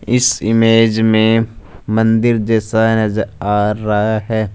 इस इमेज में मंदिर जैसा